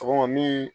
Sɔgɔma min